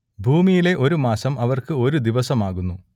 ഭൂമിയിലെ ഒരു മാസം അവർക്ക് ഒരു ദിവസം ആകുന്നു